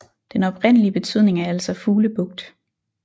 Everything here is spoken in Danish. Den oprindelige Betydning er altså Fuglebugt